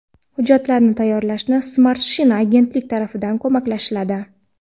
Hujjatlarni tayyorlashni Smart China agentlik tarafidan ko‘maklashiladi.